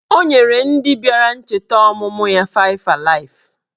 Ọ nyere ndị bịara ncheta ọmụmụ ya faịv alaịf